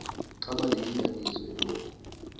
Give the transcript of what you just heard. xaba liyinyaniso eloku